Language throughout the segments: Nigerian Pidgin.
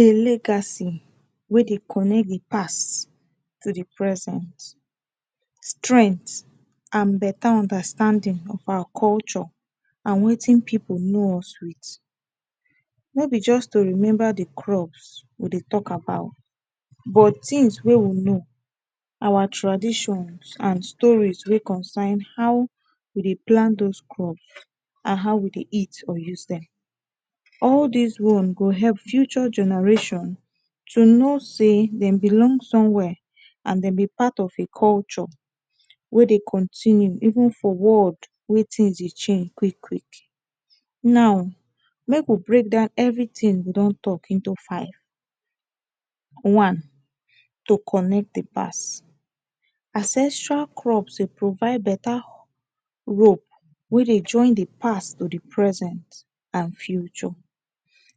A legacy wey dey connect with past to the present strength and better understanding of our culture and wetin pipu know us with. No be just to remember the crops we dey talk about but things wey we know, our tradition and story wey concern how we dey plant dos crops and how we dey eat or use dem. All des ones go help future generation to know sey dem belong somewhere and dem be part of a culture wey dey continue even for world wey things dey change quick quick. Now, make we break down everything we don talk into five. One. To connect the past. Ancestral crops dey provide better rope wey dey join the past to the present and future.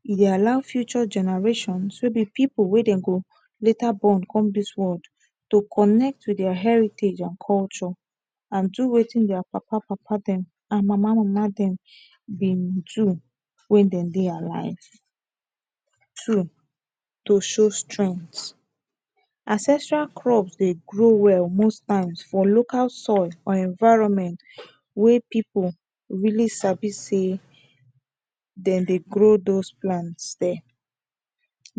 E dey allow future generation, so dey pipu wey dem go later born come dis world to connect with their heritage and culture. And do wetin their papa papa dem and mama mama dem dem do when dem dey alive. Two. To show strength. Ancestral crops dey grow well most times for local soil and environment wey people really sabi sey dem dey grow best plant dere.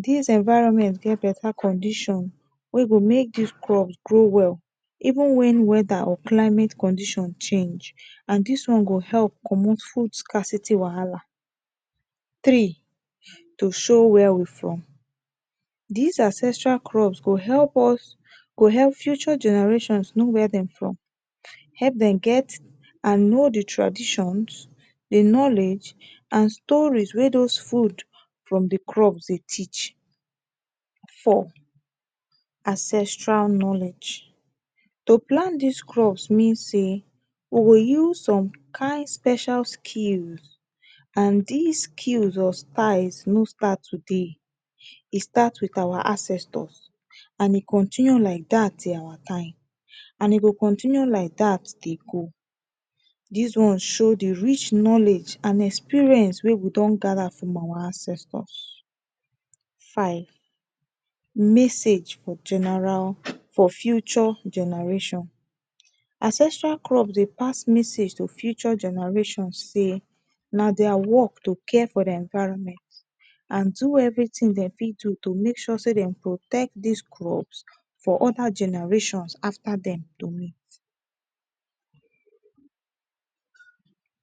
Dis environment get better condition wey go make dis crops grow well even when whether or climate condition change and dis one go help comot food scarcity wahala. Three. To show where we from. Dis ancestral crop go help us go help future generation know where dem from. Help dem get and know the traditions, the knowledge and stories wey dos food from the crop dey teach. Four. Ancestral knowledge. To plant dis crop mean sey, we go use some kind special skills and des skills or styles no start today. E start with our ancestor and e continue like dat till our time. And e go continue like dat dey go. Dis one show the rich knowledge and experience wey we don gather from our ancestors. Five. Message for general for future generation. Ancestral crops dey pass message to future generation sey na their work to care for the environment. And do everything dem fit do to make sure sey dem protect des crops for other generations after dem to meet.